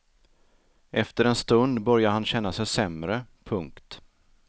Efter en stund började han känna sig sämre. punkt